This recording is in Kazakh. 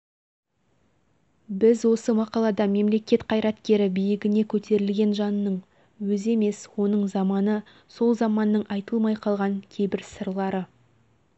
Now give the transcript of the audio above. біз осы мақалада мемлекет қайраткері биігіне көтерілген жанның өзі емес оның заманы сол заманның айтылмай қалған кейбір сырлары